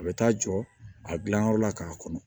A bɛ taa jɔ a dilanyɔrɔ la k'a kɔnɔ